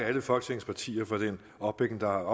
alle folketingets partier for den opbakning der